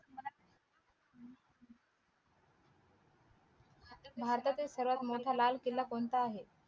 भारतातील सर्वात मोठा लाल किला कोणता आहे